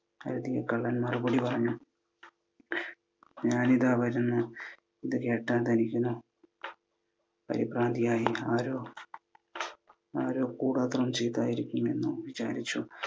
കള്ളന്മാരിൽ ഒരുവൻ പറഞ്ഞു, ഞാനിതാ വരുന്നു. ഇത് കേട്ട ധനികൻ പരിഭ്രാന്തിയായി. ആരോ കൂടോത്രം ചെയ്തതായിരിക്കുമെന്നു വിചാരിച്ചു.